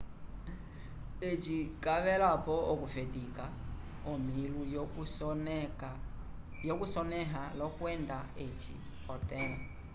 eci cavelapo okufetica omilu yo cusonea lokwenda eci otelã